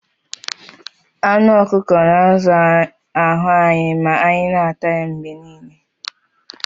Anụ ọkụkọ na-azụ ahụ anyị ma anyị na-ata ya mgbe niile